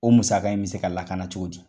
O musaka in bi se ka lakana cogo di ?